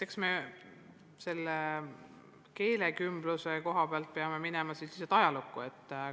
Eks me keelekümbluse koha pealt peame siis minema ajalukku.